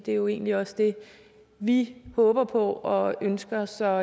er jo egentlig også det vi håber på og ønsker så